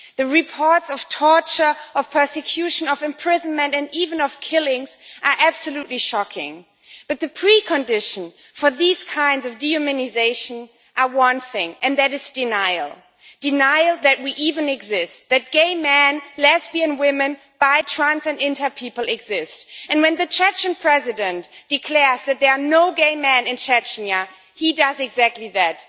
The reports of torture, of persecution, of imprisonment and even of killings are absolutely shocking, but the precondition for these kinds of dehumanisation are one thing, and that is denial denial that we even exist, that gay men, lesbian women, bi trans and inter people exist, and when the Chechnyan President declares that there are no gay men in Chechnya, he does exactly that.